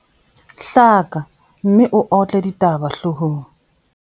Hlaka, mme o otle ditaba hloohong.